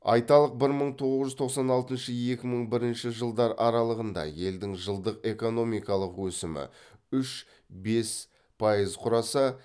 айталық бір мың тоғыз жүз тоқсан алтыншы екі мың бірінші жылдар аралығында елдің жылдық экономикалық өсімі үш бес пайыз құраса